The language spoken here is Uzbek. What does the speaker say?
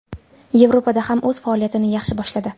Yevropada ham o‘z faoliyatini yaxshi boshladi.